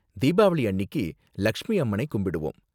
தீபாவளி அன்னிக்கு லக்ஷ்மி அம்மனை கும்பிடுவோம்.